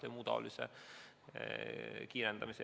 Helmen Kütt, palun!